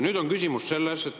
Nüüd on küsimus selles.